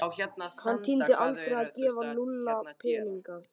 Hann tímdi aldrei að gefa Lúlla peninga.